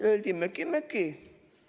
Öeldi: möki-möki.